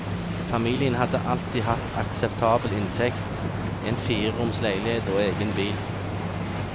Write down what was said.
Familien hadde alltid hatt akseptabel inntekt, en fireroms leilighet og egen bil.